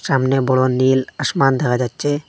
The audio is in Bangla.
সামনে বড় নীল আসমান দেখা যাচ্ছে।